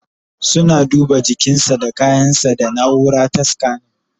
Suna duba jikinsa da kayan sa da naura ta scanning